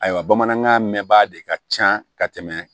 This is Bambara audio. Ayiwa bamanankan mɛnba de ka ca ka tɛmɛ